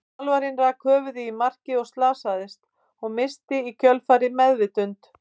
Þjálfarinn rak höfuðið í markið og slasaðist, og missti í kjölfarið meðvitund.